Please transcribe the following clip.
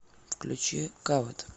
включи кавет